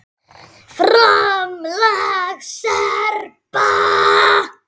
FRAMLAG SERBA